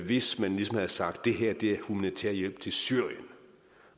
hvis man ligesom havde sagt det her er humanitær hjælp til syrien